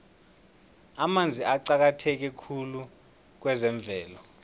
amanzi aqakatheke khulu kwezemvelo